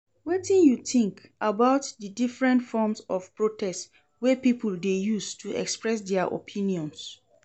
Wetin you think about di different forms of protest wey people dey use to express dia opinions?